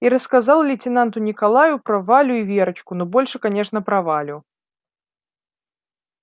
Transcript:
и рассказал лейтенанту николаю про валю и верочку но больше конечно про валю